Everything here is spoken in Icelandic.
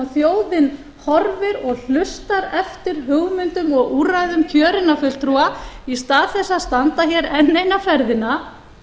þjóðin horfir og hlustar eftir hugmyndum og úrræðum kjörinna fulltrúa í stað þess að standa hér enn eina ferðina